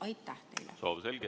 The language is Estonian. Aitäh teile!